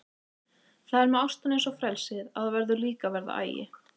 Það er með ástina eins og frelsið að þar verður líka að vera agi.